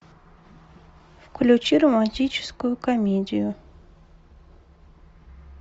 включи романтическую комедию